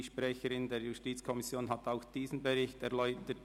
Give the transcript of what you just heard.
Die Sprecherin der JuKo hat auch diesen Bericht bereits erläutert.